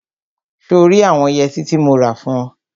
So rí àwọn yẹtí tí mo rà fún ọ?